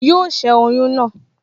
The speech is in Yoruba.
Yóò ṣẹ́ oyún náà